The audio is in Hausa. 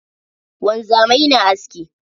Wanzamai na aski.